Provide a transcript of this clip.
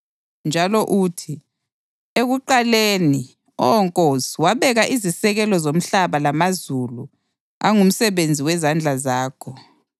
Njalo uthi, “Ekuqaleni, Oh Nkosi, wabeka izisekelo zomhlaba, lamazulu angumsebenzi wezandla zakho.